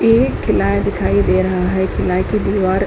एक दिखाई दे रहा है। की दीवार --